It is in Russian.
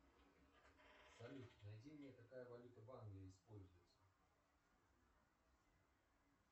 салют найди мне какая валюта в англии используется